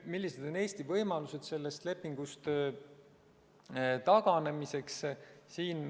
Millised on Eesti võimalused sellest lepingust taganeda?